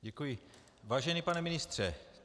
Děkuji, vážený pane ministře.